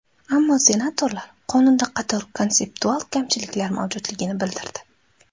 Ammo senatorlar qonunda qator konseptual kamchiliklar mavjudligini bildirdi.